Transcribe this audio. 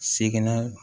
Seginna